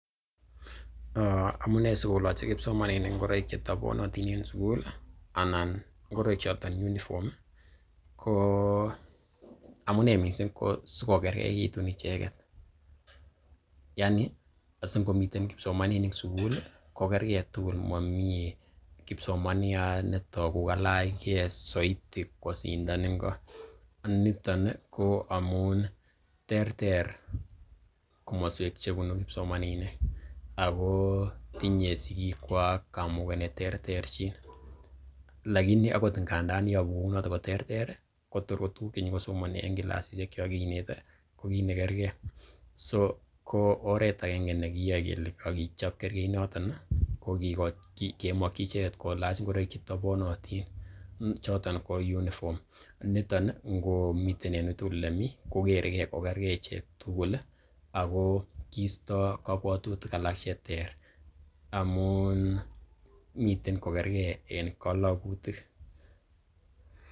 Amune sikoloche kipsomaninik ngoroik chetoponotin en sugul anan ngoroik choton uniform ko amunee mising ko sikokergeitun icheget. Yaani asingomiten kipsomaninik sugul ko kerge tugul momi kipsomaniat ne togu kalach ge soiti kosindan ingo. Niton ko amun terter komoswek che bunu kipsomaninik ago tinye sigikwak kamuget ne terterchin. Lakini agot ngandan yobu kounoto ko terter ii kotor ko tuguk che nyokosomoni en kilasishekkwak che kinete ko kiit ne kerge. So ko oret agenge nekiyoe kele kogichop kergeinoto kokimoki ichget kolach ngoroik chetoponotin choton ko uniform choton ngomi en uiy tugul ole me ko kere ge ko kerge ichek tugul ago kiisto kobwotutik alak che ter amun miten kokerge en kalagutik.